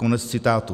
Konec citátu.